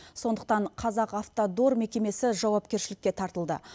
сондықтан қазақавтодор мекемесі жауапкершілікке тартылды